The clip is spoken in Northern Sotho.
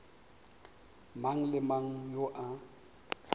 mang le mang yo a